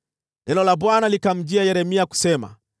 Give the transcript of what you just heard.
Neno la Bwana likamjia Yeremia kusema: